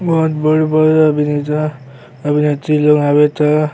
बहोत बड़-बड़ अभिनेता अभीनेत्री लोग आवे त --